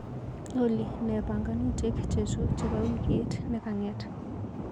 Olly, nee panganutik chechu chebo wikit nekang'et?